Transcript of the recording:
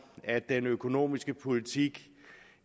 at den økonomiske politik